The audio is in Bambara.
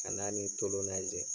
Kana ani tolon lajɛ.